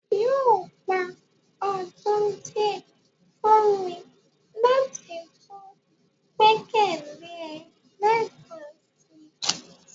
yóò gba ọdun diẹ fun mi lati tun gbẹkẹle ẹ lẹẹkansi